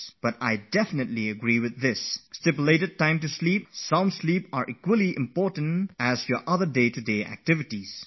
I do agree that a fixed time to go to sleep and a sound sleep are as important as other activities during the day